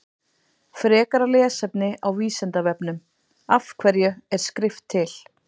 Frekara lesefni á Vísindavefnum Af hverju er skrift til?